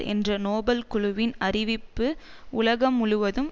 என்ற நோபல் குழுவின் அறிவிப்பு உலகம் முழுவதும்